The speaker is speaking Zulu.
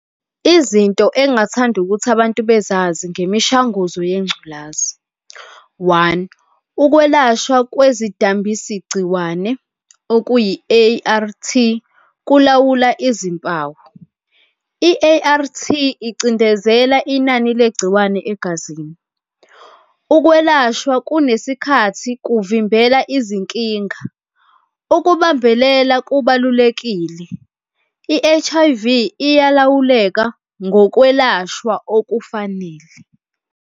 Izinto engathanda ukuthi abantu bezazi ngemishanguzo yengculazi, one, ukwelashwa kwezidambisigciwane, okuyi-A_R_T, kulawula izimpawu. i-A_R_T icindezela inani legciwane egazini. Ukwelashwa kunesikhathi kuvimbela izinkinga, ukubambelela kubalulekile. I-H_I_V iyalawuleka ngokwelashwa okufanele.